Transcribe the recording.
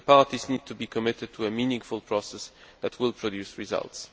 The parties need to be committed to a meaningful process that will produce results.